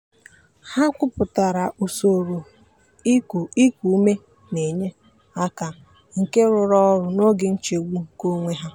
ha kwupụtara usoro iku iku ume na-enye aka nke rụrụ ọrụ n'oge nchegbu nke onwe ha.